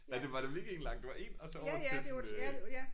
Ja det var det virkelig ikke en lang. Det var en og så over til øh